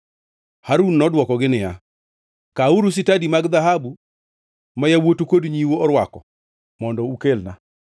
Harun nodwokogi niya, “Kawuru sitadi mag dhahabu ma yawuotu kod nyiu orwako mondo ukelna.”